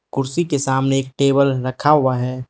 कुर्सी के सामने एक टेबल रखा हुआ है।